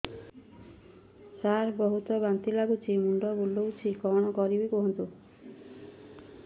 ସାର ବହୁତ ବାନ୍ତି ଲାଗୁଛି ମୁଣ୍ଡ ବୁଲୋଉଛି କଣ କରିବି କୁହନ୍ତୁ